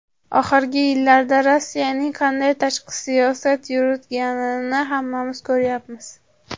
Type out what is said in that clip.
Oxirgi yillarda Rossiyaning qanday tashqi siyosat yuritayotganini hammamiz ko‘ryapmiz.